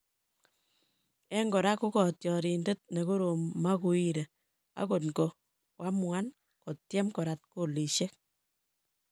En kora ko katyarindet nekorom Maguire angot koamuan kotyem korat kolisiek